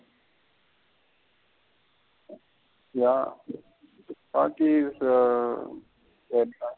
யா துப்பாக்கி .